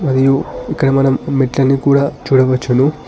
మరియు ఇక్కడ మనం మెట్లని కూడా చూడవచ్చును.